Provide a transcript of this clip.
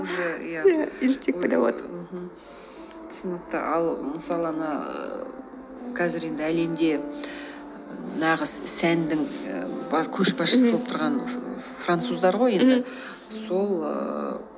түсінікті ал мысалы ана қазір енді әлемде нағыз сәннің ііі кошбасшысы болып тұрған француздар ғой енді сол ііі